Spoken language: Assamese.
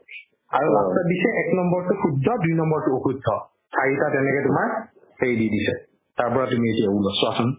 আৰু last ত দিছে এক নম্বৰটো শুদ্ধ দুই নম্বৰটো অশুদ্ধ চাৰিটা তেনেকে তোমাৰ সেই দি দিছে তাৰপৰা তুমি এতিয়া ওলোৱা চোৱাচোন